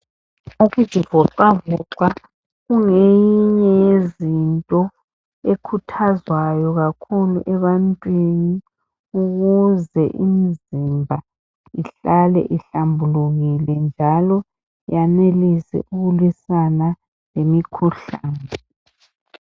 Ukuzivoxa voxa kungenye yezinto ekhuthwazwayo kakhulu ebantwini ukuthi imizimba ihlale ihlambulekile njalo ikwanise ukulwisana lemikhuhlane.